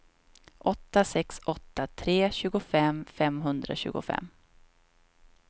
åtta sex åtta tre tjugofem femhundratjugofem